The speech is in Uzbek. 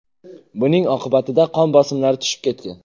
Buning oqibatida qon bosimlari tushib ketgan.